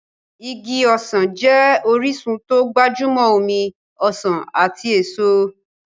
Igi ọsàn jẹ́ orísun tó gbajúmọ̀ omi ọsàn ati èso.